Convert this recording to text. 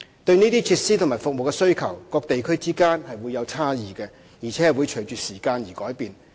對這些設施和服務的需求，各地區之間會有差異，而且會隨着時間而改變。